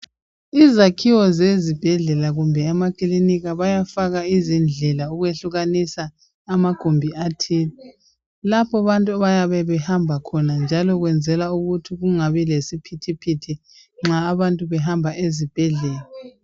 Izakhiwo zezibhedlela kumbe emakilinika bayafaka izindlela ukwehlukanisa amagumbi athile lapho bantu bayabe behamba khona njalo kwenzelwa ukuthi kungabi lesiphithiphithi nxa abantu behamba ezibhedlela.